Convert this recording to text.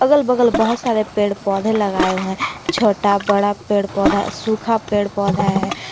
अगल बगल बहुत सारे पेड़ पौधे लगाए हुए हैं छोटा बड़ा पेड़ पौधा सूखा पेड़ पौधा है।